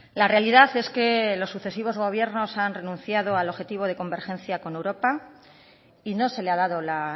la realidad es que los sucesivos gobiernos han renunciado al objetivo de convergencia con europa y no se le ha dado la